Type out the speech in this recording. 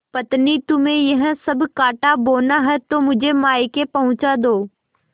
पत्नीतुम्हें यह सब कॉँटा बोना है तो मुझे मायके पहुँचा दो